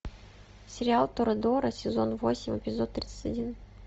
сериал торадора сезон восемь эпизод тридцать один